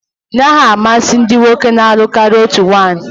Ị naghị amasị ndị nwoke na-alụ karịa otu nwaanyi?